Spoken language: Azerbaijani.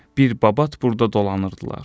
Bir babat burda dolanırdılar.